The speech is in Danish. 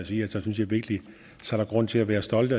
sige at så synes jeg virkelig der er grund til at være stolt